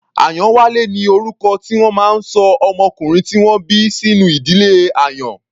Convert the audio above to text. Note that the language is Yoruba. Ayanwale ni orúkọ tí wọ́n máa ń ṣọ ọmọkùnrin tí wọ́n bí sínú ìdílé Àyàn.